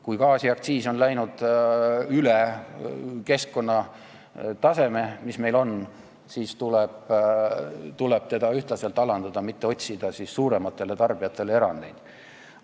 Kui gaasiaktsiis on läinud üle selle taseme, mis on meie ümber olevates riikides, siis tuleb seda ühtlaselt alandada, mitte teha suurematele tarbijatele erandeid.